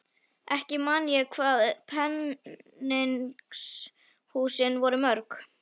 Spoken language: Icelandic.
Ekki man ég hvað peningshúsin voru mörg.